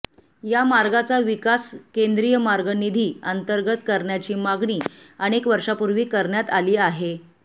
या मार्गाचा विकास केंद्रीय मार्ग निधी अंतर्गत करण्याची मागणी अनेक वर्षांपूर्वी करण्यात आली आहे